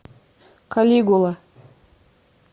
калигула